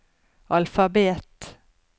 alfabet